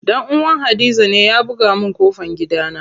Dan uwan hadiza ne ya buga min ƙofan gidana.